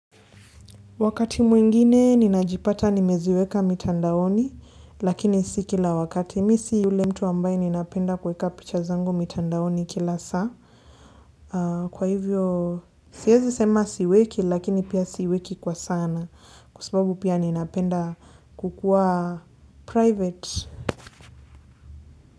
Wakati mwingine ninajipata nimeziweka mitandaoni lakini si kila wakati mi si ule mtu ambaye ninapenda kweka picha zangu mitandaoni kila saa. Kwa hivyo sihezi sema siweki lakini pia siweki kwa sana kwa sababu pia ninapenda kukuwa private.